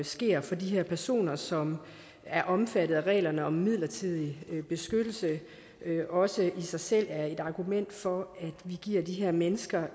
sker for de her personer som er omfattet af reglerne om midlertidig beskyttelse også i sig selv er et argument for at vi giver de her mennesker